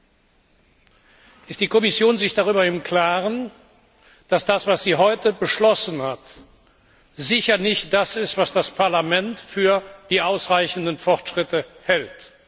Ist sich die Kommission darüber im Klaren, dass das, was sie heute beschlossen hat, sicher nicht das ist, was das Parlament für ausreichende Fortschritte hält?